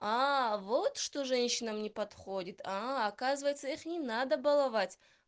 вот что женщинам не подходит оказывается их не надо баловать